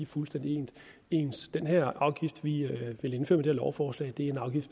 fuldstændig ens den her afgift som vi vil indføre her lovforslag er en afgift